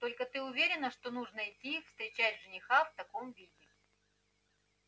только ты уверена что нужно идти встречать жениха в таком виде